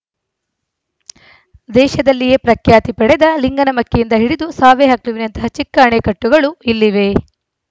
ದೇಶದಲ್ಲಿಯೇ ಪ್ರಖ್ಯಾತಿ ಪಡೆದ ಲಿಂಗನಮಕ್ಕಿಯಿಂದ ಹಿಡಿದು ಸಾವೆಹಕ್ಲುವಿನಂತಹ ಚಿಕ್ಕ ಅಣೆಕಟ್ಟುಗಳೂ ಇಲ್ಲಿವೆ